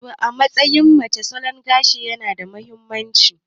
To, a matsayin mace, salon gashi yana da mahimmanci.